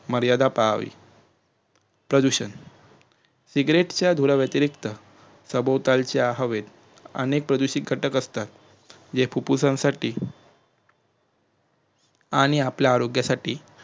मर्यादा पाळावी प्रदूषण सिगरेच्या धुराव्यतिरिखत सभोलताच्या हवेत आणि प्रदूषित घटक असतात हे फुप्फुसांसाठी आणि आपल्या आरोग्यांसाठी